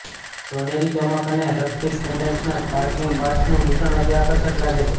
સોનેરી ચમક અને સ્ફટિક પેન્ડન્ટ્સના સ્પાર્કલિંગ પાર્ટ્સનું મિશ્રણ અતિ આકર્ષક લાગે છે